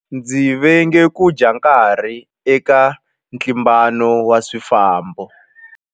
Ndzi venga ku dya nkarhi eka ntlimbano wa swifambo.